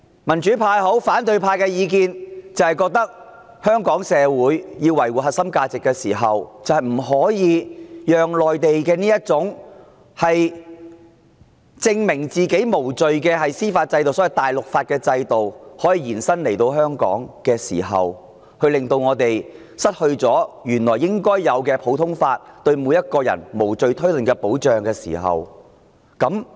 民主派或反對派的意見是，香港社會要維護自身核心價值，就不可讓內地這種要證明自己無罪的司法制度——所謂"大陸法"的制度延伸到香港，令我們失去原有的普通法，令每個人喪身無罪推論的保障。